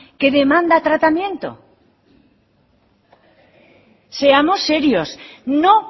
que demanda tratamiento seamos serios no